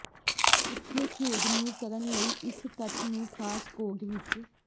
ਉਥੇ ਖੇਡ ਨੂੰ ਕਰਨ ਲਈ ਇਸ ਤੱਥ ਨੂੰ ਖਾਸ ਕੋਡ ਵਿੱਚ